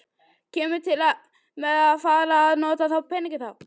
Kemur til með að fara að nota þá peninga þá?